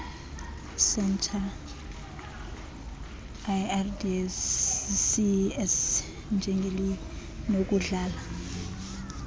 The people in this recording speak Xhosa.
centres lrdcs njengelinokudlala